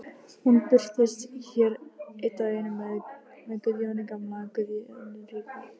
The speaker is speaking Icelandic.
Hún birtist hér einn daginn með Guðjóni gamla, Guðjóni ríka.